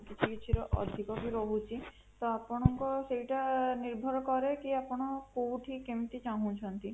କିଛି କିଛି ର ଅଧିକ ଭି ରହୁଛି ତ ଆପଣଙ୍କର ସେଟା ନିର୍ଭର କରିକି ଆପଣ କୋଉଠି କେମିତି ଚାହୁଁଛନ୍ତି